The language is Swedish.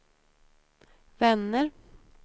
vänner